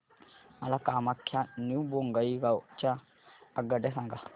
मला कामाख्या ते न्यू बोंगाईगाव च्या आगगाड्या सांगा